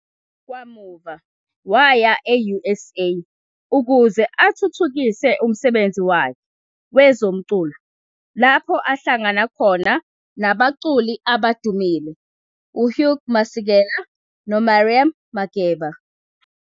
Kamuva waya e-USA ukuze athuthukise umsebenzi wakhe wezomculo lapho ahlangana khona nabaculi abadumile uHugh Masekela noMiriam Makeba.